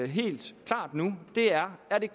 helt klart nu er at vi